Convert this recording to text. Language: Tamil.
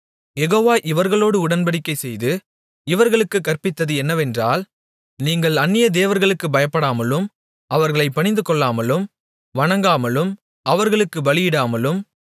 யெகோவா இவர்களோடு உடன்படிக்கைசெய்து இவர்களுக்குக் கற்பித்தது என்னவென்றால் நீங்கள் அந்நிய தேவர்களுக்குப் பயப்படாமலும் அவர்களைப் பணிந்துகொள்ளாமலும் வணங்காமலும் அவர்களுக்குப் பலியிடாமலும்